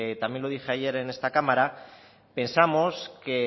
también lo dije ayer en esta cámara pensamos que